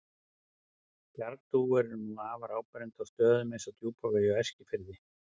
Bjargdúfur eru nú afar áberandi á stöðum eins og Djúpavogi og Eskifirði.